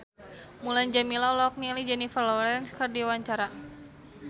Mulan Jameela olohok ningali Jennifer Lawrence keur diwawancara